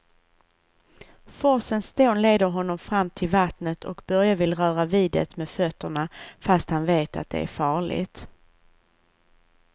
Forsens dån leder honom fram till vattnet och Börje vill röra vid det med fötterna, fast han vet att det är farligt.